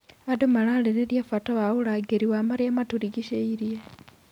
Andũ mararĩrĩria bata wa ũrangĩri wa marĩa matũrigicĩirie.